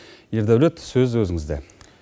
ердаулет сөз өзіңізде